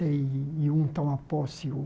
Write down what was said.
E um toma posse o